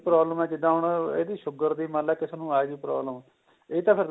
problem ਏ ਜਿੱਦਾ ਹੁਣ ਇਹਦੀ sugar ਦੀ ਮਨਲੇ ਕਿਸੇ ਨੂੰ ਆਜੇ problem ਇਹ ਤਾਂ ਫੇਰ